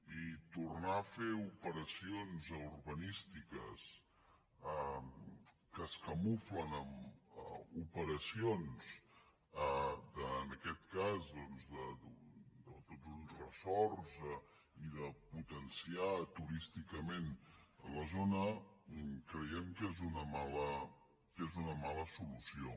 i tornar a fer operacions urbanístiques que es camuflen en operacions en aquest cas de tot un resorts i de potenciar turísticament la zona creiem que és una mala solució